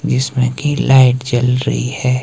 जिसमें कि लाइट जल रही है।